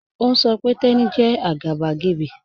Ọ̀ n sọ̀ pé Teni jẹ́ agbàgébẹ́.